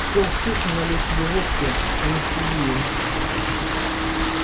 сел в кухне налил себе водки анестезия